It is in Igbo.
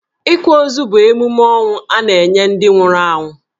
Ịkwa ozu bu emume ọnwụ a na-enye ndi nwụrụ anwụ.